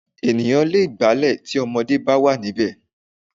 Ènìyàn lè gbálẹ̀ tí ọmọdé bá wà níbẹ̀